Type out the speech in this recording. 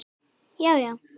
Já já!